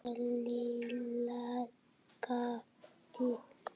Lilla gapti.